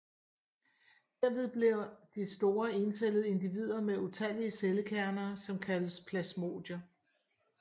Derved bliver de store encellede individer med utallige cellekerner som kaldes plasmodier